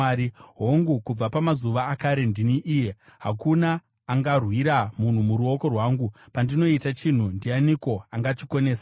Hongu, kubva pamazuva akare ndini iye. Hakuna angarwira munhu muruoko rwangu. Pandinoita chinhu, ndianiko angachikonesa?”